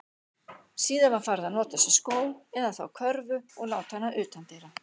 Síðar var farið að notast við skó, eða þá körfu og láta hana utandyra.